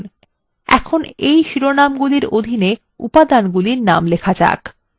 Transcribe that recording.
এখন এই শিরোনাম্গুলির অধীন উপাদানগুলির names লিখুন